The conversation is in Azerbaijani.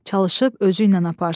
Çalışıb özü ilə aparsın.